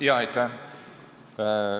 Aitäh!